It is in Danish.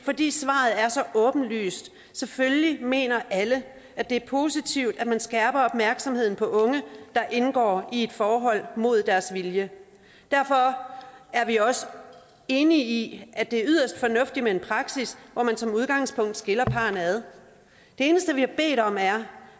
fordi svaret er så åbenlyst selvfølgelig mener alle at det er positivt at man skærper opmærksomheden på unge der indgår i et forhold mod deres vilje derfor er vi også enige i at det er yderst fornuftigt med en praksis hvor man som udgangspunkt skiller parrene ad det eneste vi har bedt om er